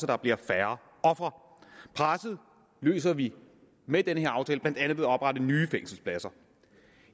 der bliver færre ofre presset løser vi med den her aftale blandt andet ved at oprette nye fængselspladser